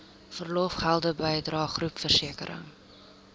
verlofgelde bydrae groepversekering